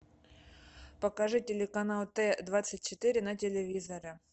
покажи телеканал т двадцать четыре на телевизоре